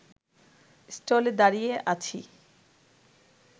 স্টলে দাঁড়িয়ে আছি